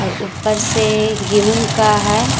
अह ऊपर से गेहूं का है।